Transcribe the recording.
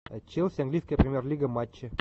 челси английская премьер лига матчи